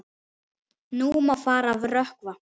Nú má fara að rökkva.